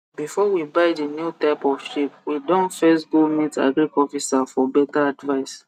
before we buy the new type of sheep we don first go meet agric officer for better advice